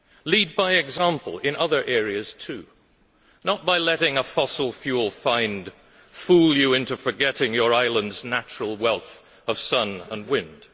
Lead by example in other areas too, not by letting a fossil fuel find fool you into forgetting your island's natural wealth of sun and wind.